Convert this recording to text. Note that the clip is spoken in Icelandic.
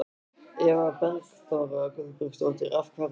Eva Bergþóra Guðbergsdóttir: Af hverju?